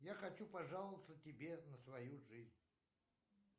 я хочу пожаловаться тебе на свою жизнь